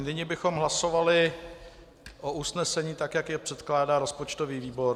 Nyní bychom hlasovali o usnesení tak, jak jej předkládá rozpočtový výbor.